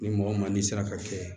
Ni mɔgɔ ma ni sera ka kɛ